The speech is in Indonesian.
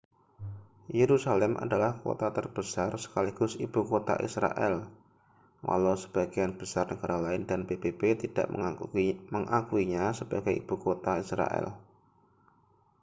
yerusalem adalah kota terbesar sekaligus ibu kota israel walau sebagian besar negara lain dan pbb tidak mengakuinya sebagai ibu kota israel